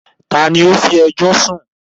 tani ó “fi ẹjọ́ sún”?